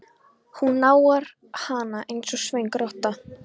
Hún nagar hana einsog svöng rotta.